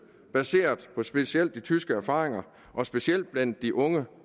baseret på specielt de tyske erfaringer specielt blandt de unge